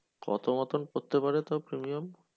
কত মতন পড়তে পারে তোর premium